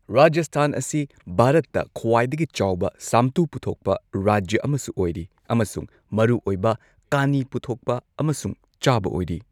ꯔꯥꯖꯁꯊꯥꯟ ꯑꯁꯤ ꯚꯥꯔꯠꯇ ꯈ꯭ꯋꯥꯏꯗꯒꯤ ꯆꯥꯎꯕ ꯁꯥꯝꯇꯨ ꯄꯨꯊꯣꯛꯄ ꯔꯥꯖ꯭ꯌꯥ ꯑꯃꯁꯨ ꯑꯣꯏꯔꯤ ꯑꯃꯁꯨꯡ ꯃꯔꯨꯑꯣꯏꯕ ꯀꯥꯅꯤ ꯄꯨꯊꯣꯛꯄ ꯑꯃꯁꯨꯡ ꯆꯥꯕ ꯑꯣꯏꯔꯤ꯫